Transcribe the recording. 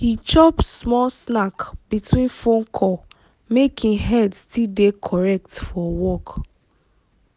he chop small snack between phone call make him head still dey correct for work.